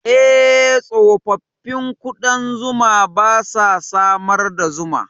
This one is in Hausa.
Eh, tsofaffin ƙudan zuma ba sa samar da zuma.